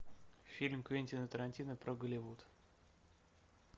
фильм квентина тарантино про голливуд